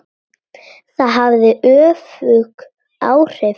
Það hafði öfug áhrif.